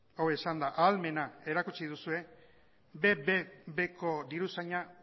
hau esanda ahalmena erakutsi duzue bbb ko diruzaina